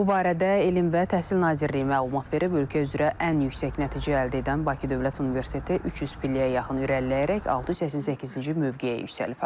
Bu barədə Elm və Təhsil Nazirliyi məlumat verib, ölkə üzrə ən yüksək nəticə əldə edən Bakı Dövlət Universiteti 300 pilləyə yaxın irəliləyərək 688-ci mövqeyə yüksəlib.